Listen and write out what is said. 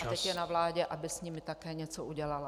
A teď je na vládě, aby s nimi také něco udělala.